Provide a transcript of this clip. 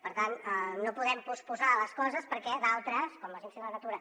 per tant no podem posposar les coses perquè d’altres com l’agència de la natura